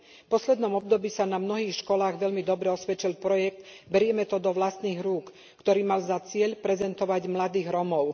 V poslednom období sa na mnohých školách veľmi dobre osvedčil projekt Berieme to do vlastných rúk, ktorý mal za cieľ prezentovať mladých Rómov.